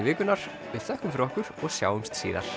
vikunnar við þökkum fyrir okkur í og sjáumst síðar